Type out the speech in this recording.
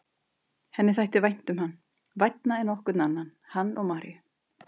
Henni þætti vænt um hann, vænna en nokkurn annan, hann og Maríu.